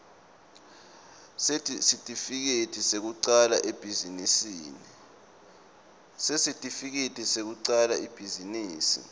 sesitifiketi sekucala ibhizinisi